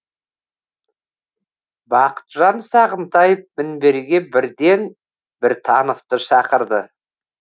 бақытжан сағынтаев мінберге бірден біртановты шақырды